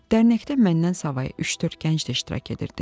Dərnəkdə məndən savayı üç-dörd gənc də iştirak edirdi.